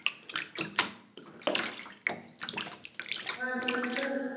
हा तेच तर